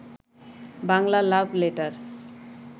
Bangla love letter